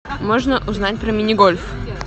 можно узнать про мини гольф